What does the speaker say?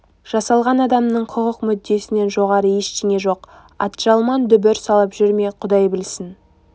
жасалған адамның хұқық мүддесінен жоғары ештеңе жоқ атжалман дүбір салып жүр ме құдай білсін